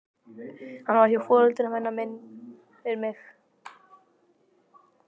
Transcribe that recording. Hún var frá foreldrum hennar minnir mig.